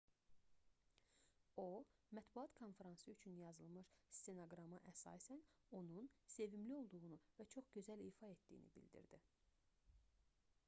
o mətbuat konfransı üçün yazılmış stenoqrama əsasən onun sevimli olduğunu və çox gözəl ifa etdiyini bildirdi